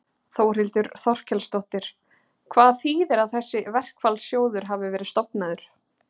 Þórhildur Þorkelsdóttir: Hvað þýðir að þessi verkfallssjóður hafi verið stofnaður?